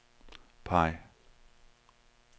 peg